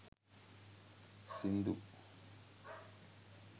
sindu